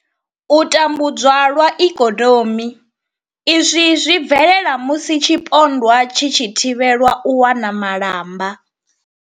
U tambudzwa lwa ikonomi izwi zwi bvelela musi tshipondwa tshi tshi thivhelwa u wana malamba.